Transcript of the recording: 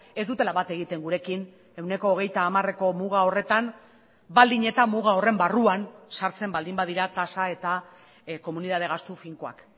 ez dutela bat egiten gurekin ehuneko hogeita hamareko muga horretan baldin eta muga horren barruan sartzen baldin badira tasa eta komunitate gastu finkoak